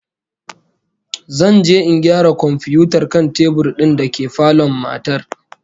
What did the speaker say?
Zan je in gyara komfiyutar kan tebur din dake falon matar